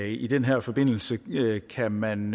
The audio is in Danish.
i den her forbindelse kan man